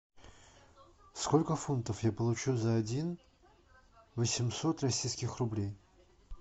сколько фунтов я получу за один восемьсот российских рублей